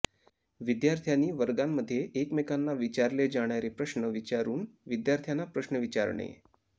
विद्यार्थ्यांनी वर्गांमध्ये एकमेकांना विचारले जाणारे प्रश्न विचारून विद्यार्थ्यांना प्रश्न विचारणे